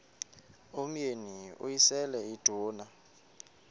umyeni uyise iduna